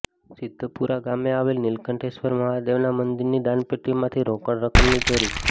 સિધ્ધપુર ગામે આવેલ નિલકંઠેશ્વર મહાદેવના મંદિરની દાનપેટીમાંથી રોકડ રકમની ચોરી